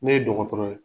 Ne ye dɔgɔtɔrɔ ye